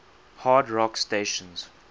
hard rock stations